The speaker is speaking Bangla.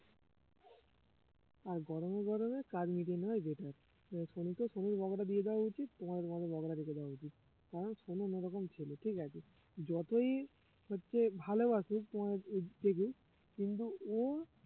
আর গরমে গরমে কাজ মিটিয়ে নেওয়াই better যে সনুকে সনুর বাবারটা দিয়ে দেওয়া উচিত তোমার তোমাদের বাবাকে দেওয়া উচিত কারণ সনু অন্যরকম ছেলে ঠিক আছে যতই হচ্ছে ভালোবাসুক তোমাদের আহ কিন্তু ও